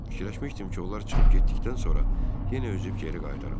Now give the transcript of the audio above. Fikirləşmişdim ki, onlar çıxıb getdikdən sonra yenə üzüb geri qayıdaram.